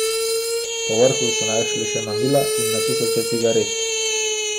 Povrhu so našli še mamila in na tisoče cigaret.